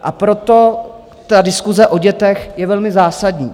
A proto ta diskuse o dětech je velmi zásadní.